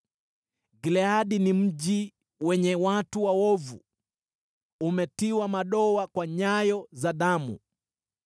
Gileadi ni mji wenye watu waovu, umetiwa madoa kwa nyayo za damu.